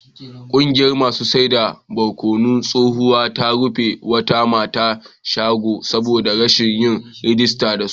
Kungiyar masu saida barkonon tsohuwa ta rufe wata mata shago saboda rashin yin rijista da su